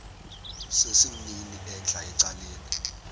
sesimnini entla ecaleni